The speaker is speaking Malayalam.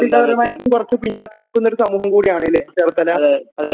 സാമ്പത്തികമായിട്ടും കുറച്ചു പിന്നോക്കം നിൽക്കുന്ന ഒരു സമൂഹമാണല്ലേ ചേർത്തല?